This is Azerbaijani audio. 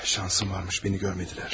Şansım varmış, məni görmədilər.